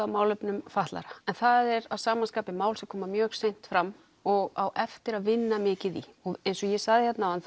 að málefnum fatlaðra en það er að sama skapi mál sem kom mjög seint fram og á eftir að vinna mikið í og eins og ég sagði hér áðan